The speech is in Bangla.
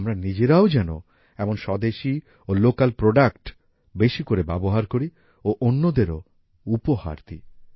আমরা নিজেরাও যেন এমন স্বদেশী ও লোকাল প্রোডাক্ট বেশি করে ব্যবহার করি ও অন্যদেরও উপহার দিই